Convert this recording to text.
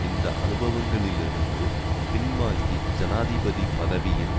இந்த அனுபவங்களிலிருந்து பின்வாங்கி ஜனாதிபதி பதவியின்